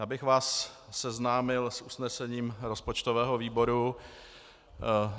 Já bych vás seznámil s usnesením rozpočtového výboru.